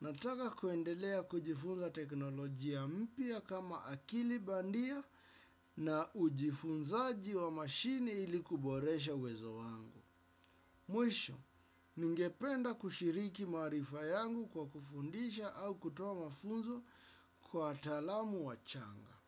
nataka kuendelea kujifunza teknolojia mpya kama akili bandia na ujifunzaji wa mashini ili kuboresha uwezo wangu. Mwisho, ningependa kushiriki maarifa yangu kwa kufundisha au kutoa mafunzo kwa taalamu wachanga.